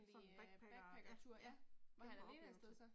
Sådan backpacker, ja, ja. Kæmpe oplevelse